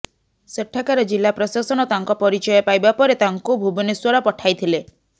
ସେଠାକାର ଜିଲ୍ଳାପ୍ରଶାସନ ତାଙ୍କ ପରିଚୟ ପାଇବା ପରେ ତାଙ୍କୁ ଭୁବନେଶ୍ବର ପଠାଇଥିଲେ